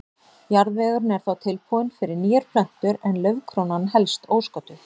Jarðvegurinn er þá tilbúinn fyrir nýjar plöntur en laufkrónan helst ósködduð.